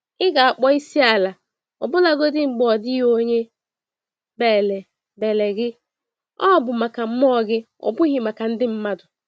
Ị ga-akpọ isiala ọbụlagodi mgbe ọdịghị onye bélè bélè gị - ọ bụ maka mmụọ gị, ọ bụghị maka ndị mmadụ.